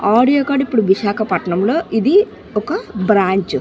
Audio car ఇపుడు విశాఖపట్నంలో ఇది ఒక బ్రాంచ్ .